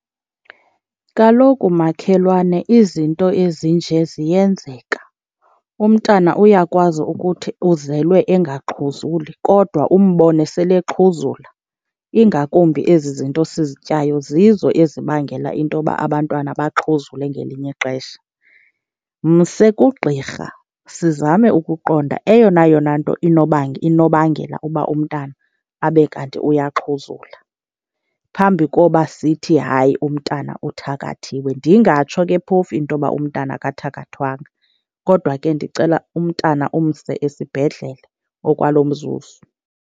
Kaloku makhelwane izinto ezinje ziyenzeka. Umntana uyakwazi ukuthi uzelwe engaxhuzuli kodwa umbone sele exhuzula, ingakumbi ezi zinto sizityayo zizo ezibangela into yoba abantwana baxhuzule ngelinye ixesha. Mse kugqirha, sizame ukuqonda eyona yona nto inobangela uba umntana abe kanti uyaxhuzula phambi koba sithi hayi umntana uthakathiwe. Ndingatsho ke phofu into yoba umntana akathakathwanga, kodwa ke ndicela umntana umse esibhedlele okwalo mzuzu.